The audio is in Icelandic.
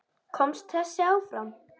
Komst þessi áfram?